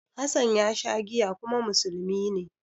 Hassan ya sha giya kuma musulmi ne.